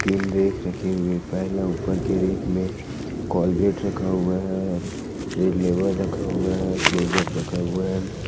तीन रैक रखे हुए पहला ऊपर के रैक में कोलगेट रखा हुआ है रेड लेबल रखा हुआ है क्लोजअप रखा हुआ है।